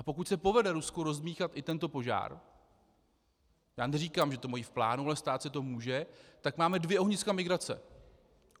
A pokud se povede Rusku rozdmýchat i tento požár - já neříkám, že to mají v plánu, ale stát se to může - tak máme dvě ohniska migrace.